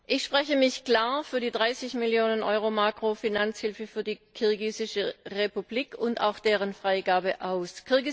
Ich spreche mich klar für die 30 Mio. Euro Makrofinanzhilfe für die Kirgisische Republik und auch deren Freigabe aus.